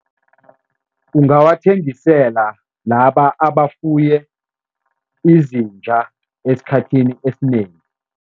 Ungawathengisela laba abafuye izinja esikhathini esinengi.